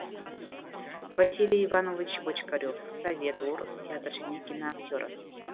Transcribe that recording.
василий иванович бочкарев совет орыс театр және киноактері